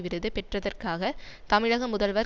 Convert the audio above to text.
விருது பெற்றதற்காக தமிழக முதல்வர்